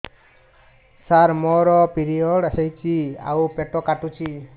ସାର ମୋର ପିରିଅଡ଼ ହେଇଚି ଆଉ ପେଟ କାଟୁଛି